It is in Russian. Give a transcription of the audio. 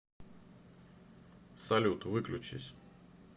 салют выключись